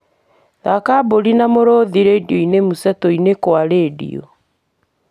thaaka mbũri na mũrũthi rĩndiũ mseto-inĩ kwa rĩndiũ